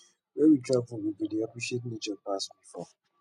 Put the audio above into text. when we travel we go dey appreciate nature pass before